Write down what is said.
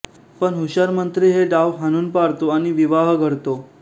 पण हुशार मंत्री हे डाव हाणून पाडतो आणि विवाह घडतो